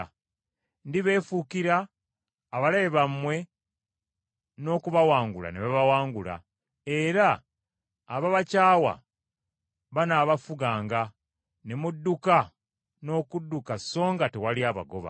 Ndibeefuukira, abalabe bammwe n’okubawangula ne babawangula; abo ababakyawa banaabafuganga, ne mudduka n’okudduka so nga tewali abagoba.